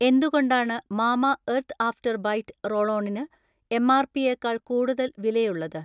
എന്തുകൊണ്ടാണ് Mamaearth after bite roll ഓണിന് MRP യെക്കാൾ കൂടുതൽ വിലയുള്ളത്?